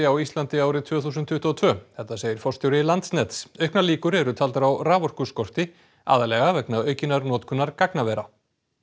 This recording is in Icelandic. á Íslandi árið tvö þúsund tuttugu og tvö þetta segir forstjóri Landsnets auknar líkur eru taldar á aðallega vegna aukinnar notkunar gagnavera